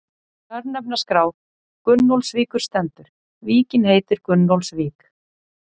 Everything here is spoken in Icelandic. Í örnefnaskrá Gunnólfsvíkur stendur: Víkin heitir Gunnólfsvík.